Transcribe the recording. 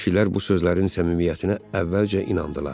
Kişilər bu sözlərin səmimiyyətinə əvvəlcə inandılar.